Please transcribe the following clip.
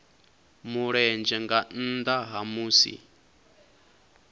mulenzhe nga nnda ha musi